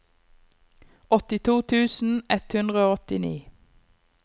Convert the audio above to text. åttito tusen ett hundre og åttini